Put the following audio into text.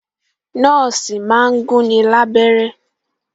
Nọ́ọ̀sì máa ń gún ni lábẹ́rẹ́